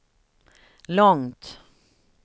långt